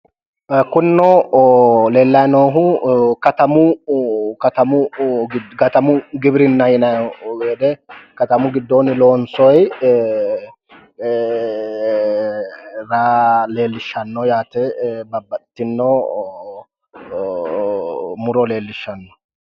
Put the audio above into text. Kunino leellayi noohu katamu katamu giwirinna yinayiho. Katamu giddoonni loonsoyi raa leellishshanno yaate. Babbaxxitino muro leellishshanno.